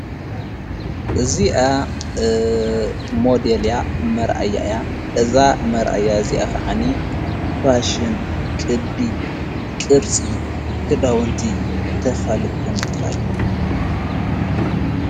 እዚኣ ሞዴል እያ፤ መርእያእያ። እዛ መርእያ እዚኣ ኸዓኒ ፋሽን፣ ቅዲ፣ ቅርፂ ክዳውንቲ ተፋልጥ ከምዘላ እዩ።